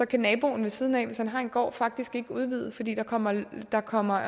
kan naboen ved siden af hvis han har en gård faktisk ikke udvide fordi der kommer der kommer